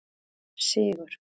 Sigur